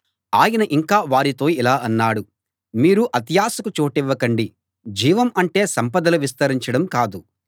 ఆయన ఇంకా వారితో ఇలా అన్నాడు మీరు అత్యాశకు చోటివ్వకండి జీవం అంటే సంపదలు విస్తరించడం కాదు